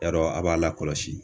Yarɔ a' b'a lakɔlɔsi